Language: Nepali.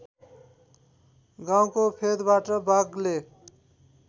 गाउँको फेदबाट वाग्ले